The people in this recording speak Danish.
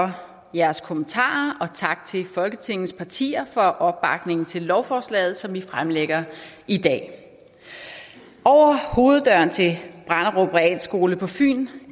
jeres kommentarer og tak til folketingets partier for opbakningen til lovforslaget som vi fremsætter i dag over hoveddøren til brenderup realskole på fyn